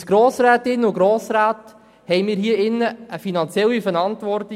Als Grossrätinnen und Grossräte haben wir gegenüber dem Kanton eine finanzielle Verantwortung.